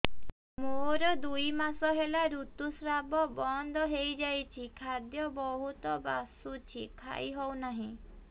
ମୋର ଦୁଇ ମାସ ହେଲା ଋତୁ ସ୍ରାବ ବନ୍ଦ ହେଇଯାଇଛି ଖାଦ୍ୟ ବହୁତ ବାସୁଛି ଖାଇ ହଉ ନାହିଁ